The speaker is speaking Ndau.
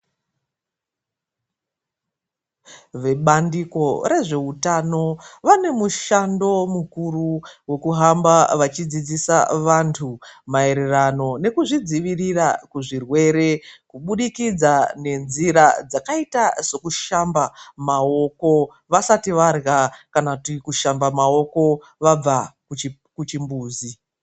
Vebandiko rezveutano vane mushando mukuru wekuhamba vachidzidzisa vantu maererano nekuzvidzivirira kuzvirwere kubudikidza nenzira dzakaita sokushamba maoko vasati varya kana kuti kushamba maoko vabva kuchimbuzi.